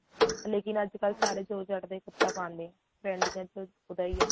ਲੇਕਿਨ ਅੱਜ ਕੱਲ ਸਾਰੇ ਜੋਰਜੱਟ ਦਾ ਹੀ ਕਪੜਾ ਪਾਉਂਦੇ ਨੇ trend ਤਾਂ ਵੈਸੇ ਉਹਦਾ ਹੀ ਏ